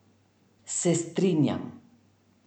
Se strinjam.